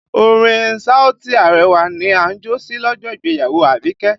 Orin Saoti Arẹwà ni a jó sí lọ́jọ́ ìgbéyàwó Abike